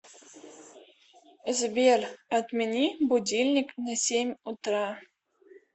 сбер отмени будильник на семь утра